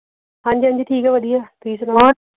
ਹਾਂਜੀ ਹਾਂਜੀ ਠੀਕ ਆ ਵਧੀਆ ਤੁਸੀਂ ਸੁਣਾਓ